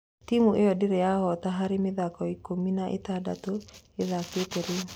Timu ĩyo ndĩrĩ ya hoota harĩ mĩthako ikũmi ya ĩtandatũ ĩthakĩte rĩu.